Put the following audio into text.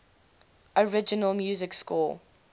original music score